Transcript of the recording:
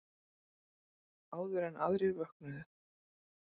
Áður en aðrir vöknuðu.